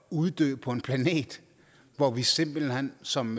uddø på en planet hvor vi simpelt hen som